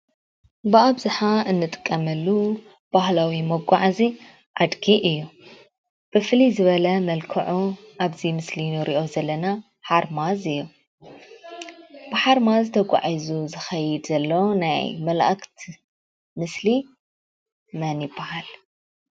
ብኣብዝሓ እንጥቀመሉ ባህላዊ መጓዓዝያ ኣድጊ እዩ፡፡ ብፍልይ ዝበለ መልክዑ ኣብዚ ምስሊ እንሪኦ ዘለና ሓርማዝ እዩ፡፡ ብሓርማዝ ተጓዒዙ ዝከይድ ዘሎ ናይ መላኣክት ምስሊ መን ይባሃል?